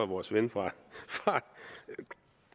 vores ven fra